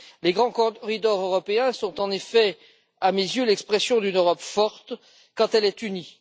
Les grands corridors européens sont en effet, à mes yeux, l'expression d'une Europe forte quand elle est unie.